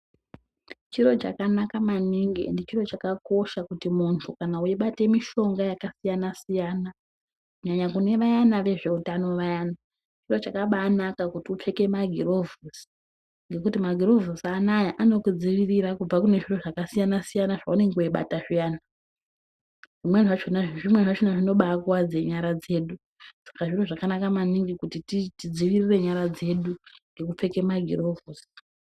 Chiro chakanaka maningi ende chiro chakakosha kuti mundu kana weyibate mishonga yakasiyana siyana kunyanya kune vayana vezve utano vayani chiro chakanaka kuti upfeke magirovhosi nekuti magirovhosi anaya anokudzivirire kubva kune zviro zvakasiyana siyana zvaunenge weyibata zviyani zvimweni zvachona zvinobaikwadze nyara dzedu sak zviro zvakanaka maningi kuti tidzivirire nyara dzedu nekupfeka magirovhosi.